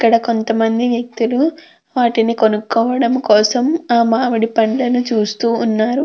ఇక్కడ కొంతమంది వ్యక్తులు వాటిని కొనుక్కోవడం కోసం ఆ మామిడి పండ్లను చూస్తూ ఉన్నారు.